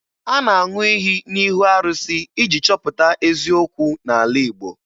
A na-aṅụ iyi n'ihu arụsị iji chọpụta eziokwu n'ala Igbo